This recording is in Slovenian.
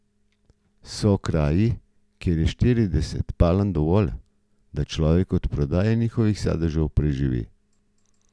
So kraji, kjer je štirideset palm dovolj, da človek od prodaje njihovih sadežev preživi.